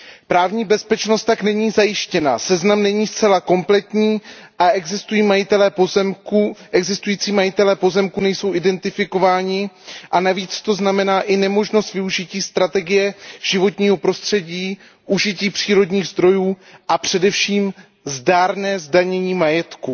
Právní bezpečnost tak není zajištěna, seznam není zcela kompletní a existující majitelé pozemků nejsou identifikováni, a navíc to znamená i nemožnost využití strategie životního prostředí, užití přírodních zdrojů a především zdárné zdanění majetku.